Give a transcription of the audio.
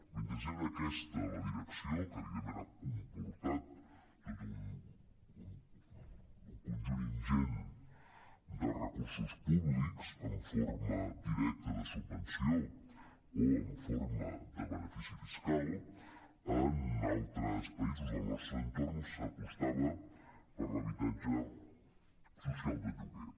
mentre era aquesta la direcció que evidentment ha comportat tot un conjunt ingent de recursos públics en forma directa de subvenció o en forma de benefici fiscal en altres països del nostre entorn s’apostava per l’habitatge social de lloguer